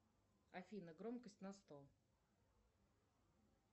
афина громкость на сто